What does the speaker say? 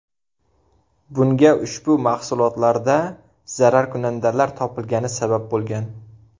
Bunga ushbu mahsulotlarda zararkunandalar topilgani sabab bo‘lgan.